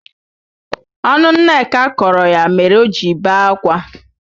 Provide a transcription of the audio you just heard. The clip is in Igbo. Ọnụ Nneka kọrọ ya mere oji bee akwa.